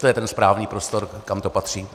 To je ten správný prostor, kam to patří.